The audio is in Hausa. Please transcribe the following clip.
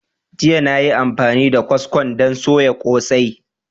Jiya na yi amfani da kwaskon don soya kosai.